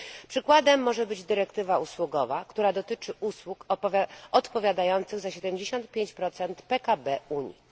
Przykładem może być dyrektywa usługowa, która dotyczy usług odpowiadających za 75 PKB Unii.